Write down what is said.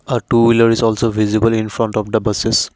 a two wheeler is also visible in front of the buses.